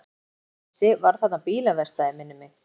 Síðast þegar ég vissi var þarna bílaverkstæði, minnir mig.